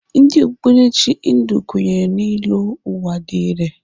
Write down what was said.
Ndị okpukperechi Hindu kwenyere na ịlọ ụwa dị irè.